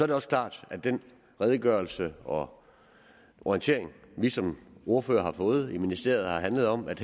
det også klart at den redegørelse og orientering vi som ordførere har fået i ministeriet har handlet om at